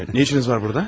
Nə işiniz var burada?